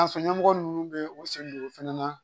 A sun ɲɛmɔgɔ ninnu bɛ u sen don o fana na